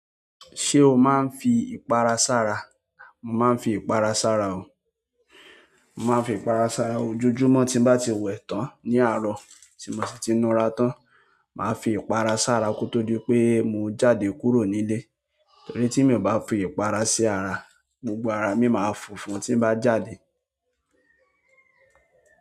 Ṣé o máa ń fi ìpara sára? Mo máa ń fi ìpara sára o. Mo máa ń fi ìpara sára o. Ojoojúmọ́ ti n bá ti wẹ̀ tán, ní àárọ̀, tí mo sì ti nu ara tán, máa fi ìpara sára kó tó di wípé mo jáde kúrò nílé, torí tí mi o bá fi ìpara sára, gbogbo ara mi máa funfun tí n bá jáde.